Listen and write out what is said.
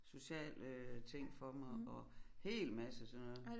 Sociale øh ting for mig og hel masse af sådan noget